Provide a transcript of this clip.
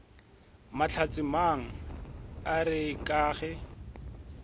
mahlatsemang a re ka ge